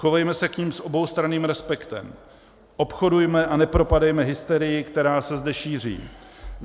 Chovejme se k nim s oboustranným respektem, obchodujme a nepropadejme hysterii, která se zde šíří.